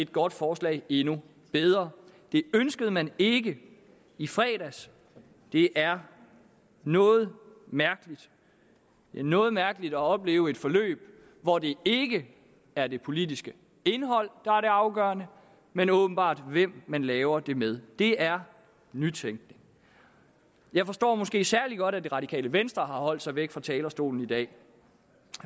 godt forslag endnu bedre det ønskede man ikke i fredags det er noget mærkeligt det er noget mærkeligt at opleve et forløb hvor det ikke er det politiske indhold der er det afgørende men åbenbart hvem man laver det med det er nytænkning jeg forstår måske særlig godt at det radikale venstre har holdt sig væk fra talerstolen i dag